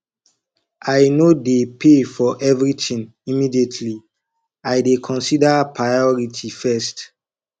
i no dey pay for everytin immediately i dey consider priority first